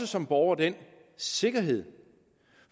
som borger den sikkerhed